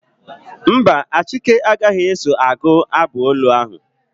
Mba, Achike agaghị eso agụ abụ olu ahụ.